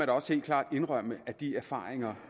da også helt klart indrømme at de erfaringer